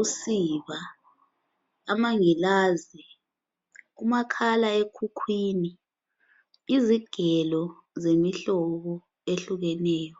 ,usiba amangilazi umakhalekhukhwini, izigelo zemihlobo ehlukeneyo.